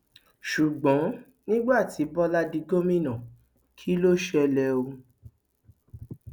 ṣùgbọn nígbà tí bọlá di gómìnà kí ló ṣẹlẹ o